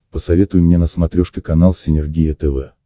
посоветуй мне на смотрешке канал синергия тв